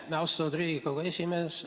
Aitäh, austatud Riigikogu esimees!